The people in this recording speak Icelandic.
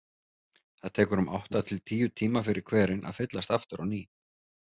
Það tekur um átta til tíu tíma fyrir hverinn að fyllast aftur á ný.